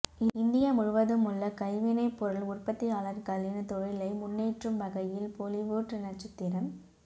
India முழுவதுமுள்ள கைவினை பொருள் உற்பத்தியளார்களின் தொழிலை முன்னேற்றும் வகையில் பொலிவூட் நட்சத்திர